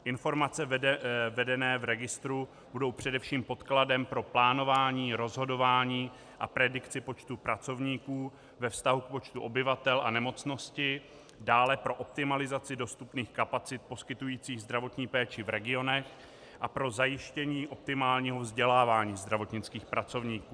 Informace vedené v registru budou především podkladem pro plánování, rozhodování a predikci počtu pracovníků ve vztahu k počtu obyvatel a nemocnosti, dále pro optimalizaci dostupných kapacit poskytujících zdravotní péči v regionech a pro zajištění optimálního vzdělávání zdravotnických pracovníků.